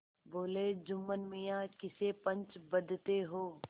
बोलेजुम्मन मियाँ किसे पंच बदते हो